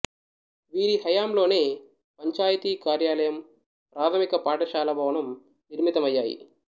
వీరి హయాంలోనే పంచాయతీ కార్యాలయం ప్రాథమిక పాఠశాల భవనం నిర్మితమయ్యాయి